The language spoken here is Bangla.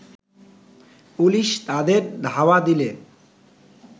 পুলিশ তাদের ধাওয়া দিলে